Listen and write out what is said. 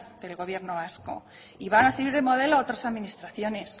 el gobierno vasco y van a seguir de modelo a otras administraciones